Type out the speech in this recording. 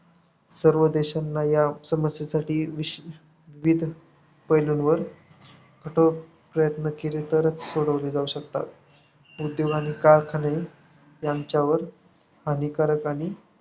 सर्व देशांना या समस्येसाठी विषविविध पैलूंवर कठोर प्रयत्न केले तरच सोडवले जाऊ शकतात. उद्योग आणि कारखाने यांच्यावर हानिकारक आणि